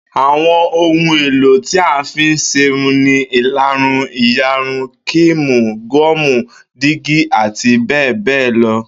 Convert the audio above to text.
Àwo̩n ohun èlò tí a fí ń s̩erun ni ìlarun, ìyarun, kííìmù, gó̩ò̩mù, dígí àti bé̩è̩ lo̩